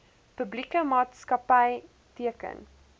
publieke maatskapy teken